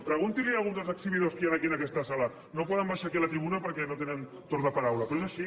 pregunti li ho a alguns dels exhibidors que hi han aquí en aquesta sala no poden baixar aquí a la tribuna perquè no tenen torn de paraula però és així